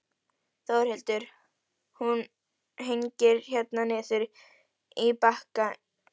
Þórhildur: Hún hangir hérna niður úr byggingakrana?